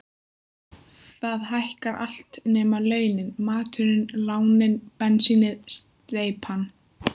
Það hækkar allt nema launin: maturinn, lánin, bensínið, steypan.